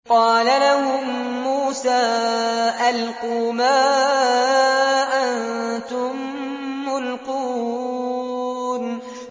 قَالَ لَهُم مُّوسَىٰ أَلْقُوا مَا أَنتُم مُّلْقُونَ